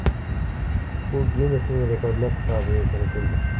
U Ginnesning Rekordlar kitobiga kiritildi.